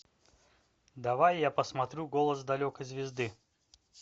давай я посмотрю голос далекой звезды